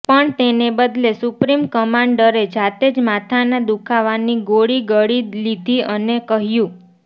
પણ તેને બદલે સુપ્રીમ કમાન્ડરે જાતે જ માથાના દુખાવાની ગોળી ગળી લીધી અને કહ્યું